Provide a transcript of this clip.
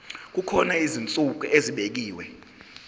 kukhona izinsuku ezibekiwe